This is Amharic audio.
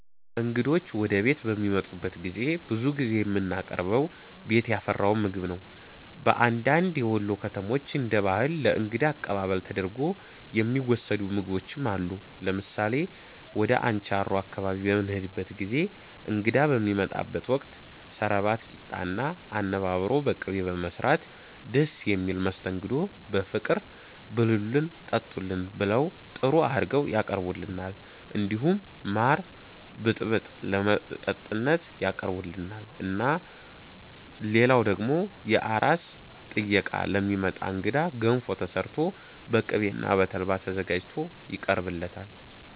እንግዶች ወደ ቤት በሚመጡበት ጊዜ ብዙ ጊዜ የምናቀርበው ቤት ያፈራውን ምግብ ነው በአንዳንድ የወሎ ከተሞች እንደ ባህል ለ እንግዳ አቀባበል ተደርጎ የሚወሰዱ ምግቦችም አሉ ለምሳሌ ወደ አንቻሮ አካባቢ በምንሄድበት ጊዜ እንግዳ በሚመጣበት ወቅት ሰረባት ቂጣ እና አነባበሮ በቅቤ በመስራት ደስ በሚል መስተንግዶ በፍቅር ብሉልን ጠጡልን ብለው ጥሩ አርገው ያቀርቡልናል እንዲሁም ማር ብጥብጥ ለመጠጥነት ያቀርቡልናል እና ልላው ደግሞ የአራስ ጥየቃ ለሚመጣ እንግዳ ገንፎ ተሰርቶ በቅቤ እና በተልባ ተዘጋጅቶ ይቀርብለታል